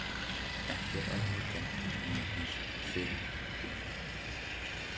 Ekki eru allir kettir næmir fyrir mintunni.